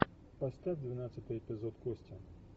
поставь двенадцатый эпизод кости